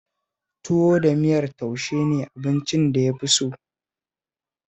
Tuwo da miyar taushe ne abincin da ya fi so